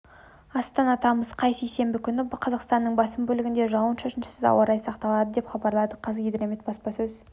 астана тамыз қаз сейсенбі күні қазақстанның басым бөлігінде жауын-шашынсыз ауа райы сақталады деп хабарлады қазгидромет баспасөз